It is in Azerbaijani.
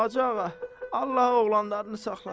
Hacı ağa, Allah oğlanlarını saxlasın.